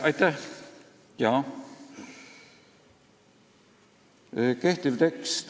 Aitäh!